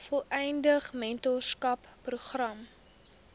volledige mentorskap program